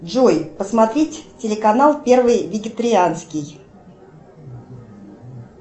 джой посмотреть канал первый вегетерианский